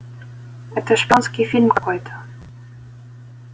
это шпионский фильм какой-то